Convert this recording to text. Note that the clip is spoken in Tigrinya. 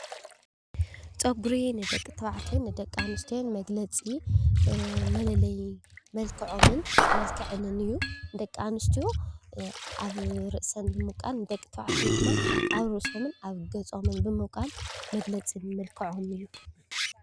ፀጉሪ ንደቂ ኣንስትዮን ንደቂ -ተባዕትዮን መግለፂ መለለይኦምን መልከዐንን እዩ። ደቂ ኣንስትዮ ኣብ ርእሰን ደቀ-ተባዕትዮድማ ኣብ ገፆም ብምቋል መግለፂ መልከዖም እዩ።